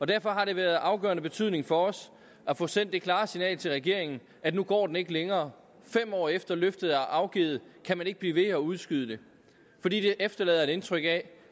derfor har det været af afgørende betydning for os at få sendt det klare signal til regeringen at nu går den ikke længere fem år efter at løftet er afgivet kan man ikke blive ved at udskyde det fordi det efterlader et indtryk af